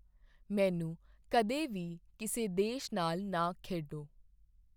ਮੈਨੂੰ ਕਦੇ ਵੀ ਕਿਸੇ ਦੇਸ਼ ਨਾਲ ਨਾ ਖੇਡੋ